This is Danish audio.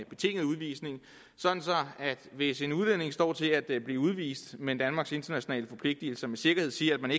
betinget udvisning sådan at hvis en udlænding står til at blive udvist men danmarks internationale forpligtelser med sikkerhed siger at